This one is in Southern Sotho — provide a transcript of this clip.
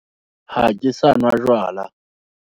Ha ke sa nwa jwala.